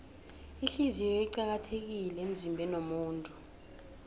ihliziyo iqakathekile emzimbeniwomuntu